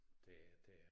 Det det er